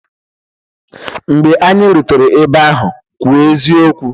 Mgbe anyị rutere ebe ahụ, kwuo eziokwu!